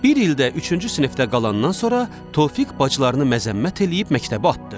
Bir ildə üçüncü sinifdə qalandan sonra Tofiq bacılarını məzəmmət eləyib məktəbə atdı.